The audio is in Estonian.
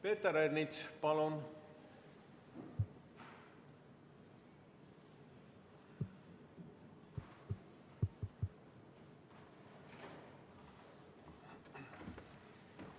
Peeter Ernits, palun!